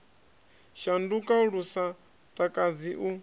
shanduka lu sa takadzi u